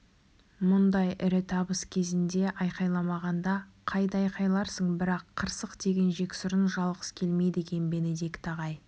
мұндай ірі табыс кезінде айқайламағанда қайда айқайларсың бірақ қырсық деген жексұрын жалғыз келмейді екен бенедикт ағай